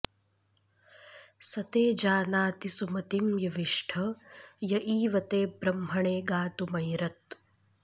स ते॑ जानाति सुम॒तिं य॑विष्ठ॒ य ईव॑ते॒ ब्रह्म॑णे गा॒तुमैर॑त्